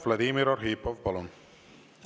Vladimir Arhipov, palun!